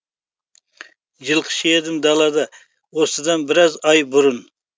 жылқышы едім далада осыдан біраз ай бұрын